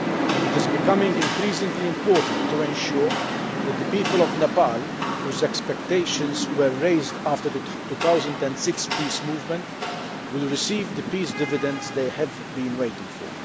It is becoming increasingly important to ensure that the people of Nepal, whose expectations were raised after the 2006 peace movement, will receive the peace dividends they have been waiting for.